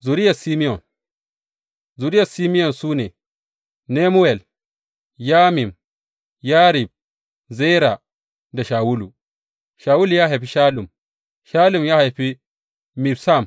Zuriyar Simeyon Zuriyar Simeyon su ne, Nemuwel, Yamin, Yarib, Zera da Shawulu; Shawulu ya haifi Shallum, Shallum ya haifi Mibsam.